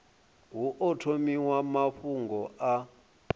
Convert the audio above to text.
hu o thomiwa mafhungo a